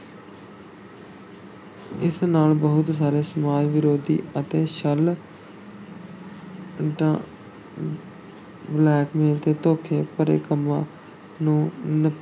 ਇਸ ਨਾਲ ਬਹੁਤ ਸਾਰੇ ਸਮਾਜ ਵਿਰੋਧੀ ਅਤੇ ਛਲ blackmail ਤੇ ਧੋਖੇ ਭਰੇ ਕੰਮਾਂ ਨੂੰ ਨ